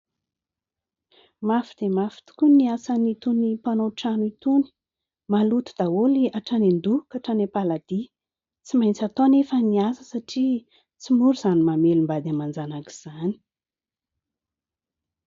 Mafy dia mafy tokoa ny asan'itony mpanao trano itony. Maloto daholo atrany an-doha ka hatrany am-paladia tsy maintsy atao anefa ny asa satria tsy mora izany mamelom-bady aman-janaka izany.